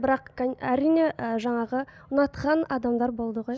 бірақ әрине і жаңағы ұнатқан адамдар болды ғой